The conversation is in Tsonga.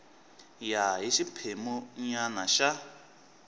ya hi xiphemu nyana xa